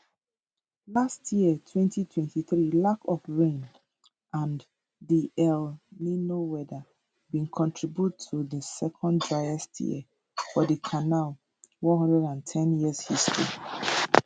last year 2023 lack of rain and di el nino weather bin contribute to di second driest year for di canal 110year history